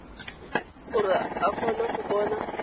gore a kgone go bona